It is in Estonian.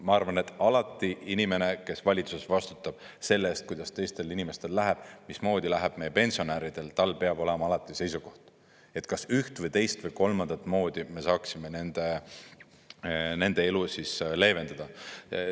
Ma arvan, alati inimene, kes valitsuses vastutab selle eest, kuidas teistel inimestel läheb, mismoodi läheb meie pensionäridel, tal peab olema alati seisukoht, et kas üht või teist või kolmandat moodi me saaksime nende elu leevendada.